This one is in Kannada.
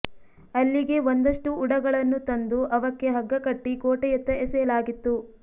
ಅಲ್ಲಿಗೆ ಒಂದಷ್ಟು ಉಡಗಳನ್ನು ತಂದು ಅವಕ್ಕೆ ಹಗ್ಗ ಕಟ್ಟಿ ಕೋಟೆಯತ್ತ ಎಸೆಯಲಾಗಿತ್ತು